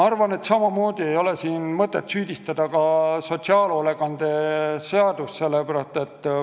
Siin ei ole mõtet süüdistada sotsiaalhoolekande seadust.